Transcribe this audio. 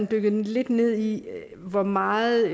dykket lidt ned i hvor meget